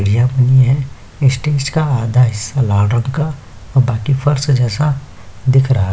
यह मुनि है स्टेज का आधा हिस्सा लाल रंग का बाकि फर्श जैसा दिख रहा है।